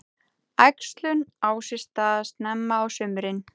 Æxlun á sér stað snemma á sumrin.